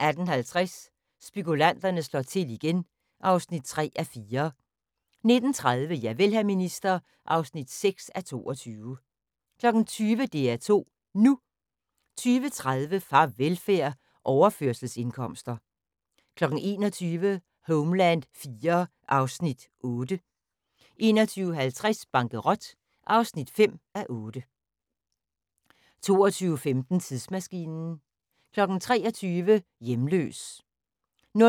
18:50: Spekulanterne slår til igen (3:4) 19:30: Javel, hr. minister (6:22) 20:00: DR2 NU 20:30: Farvelfærd: Overførselsindkomster 21:00: Homeland IV (Afs. 8) 21:50: Bankerot (5:8) 22:15: Tidsmaskinen 23:00: Hjemløs 00:00: